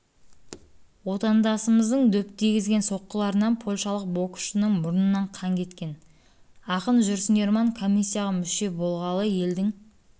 отандасымыздың дөп тигізген соққыларынан польшалық боксшының мұрнынан қан кеткен ақын жүрсін ерман комиссияға мүше болғалы елдің